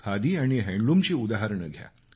खादी आणि हातमागाचं उदाहरणं घ्या